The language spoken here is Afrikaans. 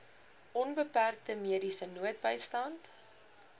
onbeperkte mediese noodbystand